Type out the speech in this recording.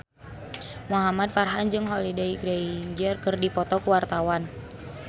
Muhamad Farhan jeung Holliday Grainger keur dipoto ku wartawan